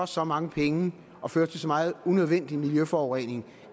så mange penge og føre til så meget unødvendig miljøforurening